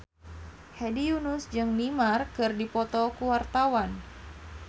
Hedi Yunus jeung Neymar keur dipoto ku wartawan